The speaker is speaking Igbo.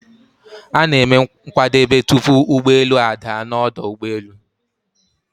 A na-eme nkwadebe, tupu ụgbọelu a daa n'ọdu ụgbọelu